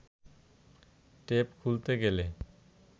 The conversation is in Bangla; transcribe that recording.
টেপ খুলতে গেলে